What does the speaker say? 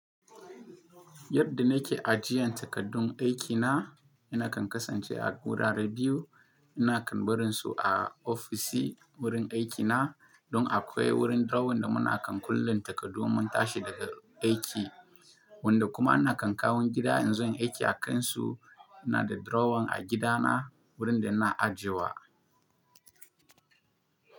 Yadda na ke ajiyan takaddun aikina, ina kan kasance a wurin rediyo, ina kan barin su a ofishi wurin aikina don akwai wurin drawer da muna kan kulle takardu mun tashi daga aiki, wanda kuma ina kan kawo gida in zo yin aiki a kansu. Ina da drawer a gidana wurin da na ajewa.